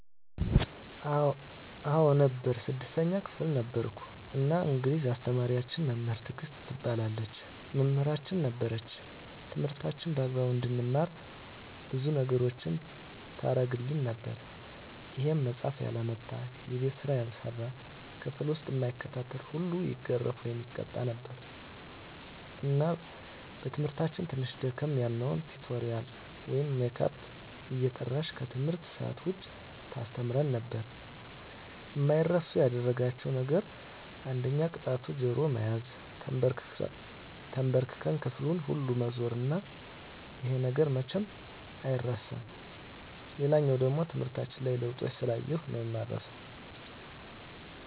አዎ ነበር 6ተኛ ክፍል ነበርኩ እና እንግሊዝ አስተማሪያችን መምህር ትግስት ትባላለች መምህራችን ነበረች ትምህርታችንን በአግባቡ እንድንማር ብዙ ነገሮችን ታረግልን ነበር ይሄም መፃሐፍ ያላመጣ፣ የቤት ስራ ያልሰራ፣ ክፍል ዉስጥ እማይከታተል ሁሉ ይገረፍ( ይቀጣ ) ነበር እና በትምህርታችን ትንሽ ደከም ያልነዉን ቲቶሪያል ወይም ሜካፕ እየጠራች ከትምህርት ሰአት ዉጭ ታስተምረን ነበር። አማይረሱ ያደረጋቸዉ ነገር አንደኛ ቅጣቱ ጆሮ መያዝ፣ ተንበርክኮ ክፍሉን ሁሉ መዞር እና ይሄ ነገር መቼም አይረሳም። ሌላኛዉ ደሞ ትምህርታችን ላይ ለዉጦችን ስላየሁ ነዉ እማረሳዉ።